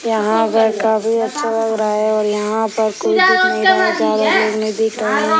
यहाँ पर काफी अच्छा लग रहा है और यहाँ पर कोई दिख नहीं रहा है ज्यादा लोग नहीं दिख रहे हैं।